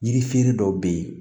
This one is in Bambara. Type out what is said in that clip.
Yirifɛre dɔw be ye